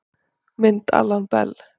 Mynd Alan Bell